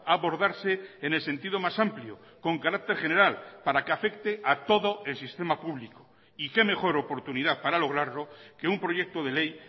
abordarse en el sentido más amplio con carácter general para que afecte a todo el sistema publico y qué mejor oportunidad para lograrlo que un proyecto de ley